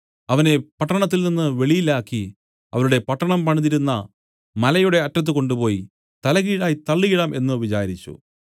അവനെ പട്ടണത്തിൽനിന്നു വെളിയിലാക്കി അവരുടെ പട്ടണം പണിതിരുന്ന മലയുടെ അറ്റത്ത് കൊണ്ടുപോയി തലകീഴായി തള്ളിയിടാം എന്നു വിചാരിച്ചു